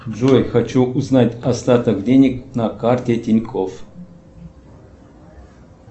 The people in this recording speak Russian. джой хочу узнать остаток денег на карте тинькофф